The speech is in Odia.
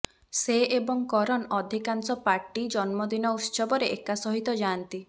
ସେ ଏବଂ କରନ୍ ଅଧିକାଂଶ ପାର୍ଟି ଜନ୍ମଦିନ ଉତ୍ସବରେ ଏକା ସହିତ ଯାଆନ୍ତି